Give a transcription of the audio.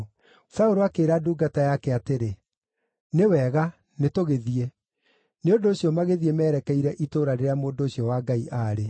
Saũlũ akĩĩra ndungata yake atĩrĩ, “Nĩ wega, nĩ tũgĩthiĩ.” Nĩ ũndũ ũcio magĩthiĩ merekeire itũũra rĩrĩa mũndũ ũcio wa Ngai aarĩ.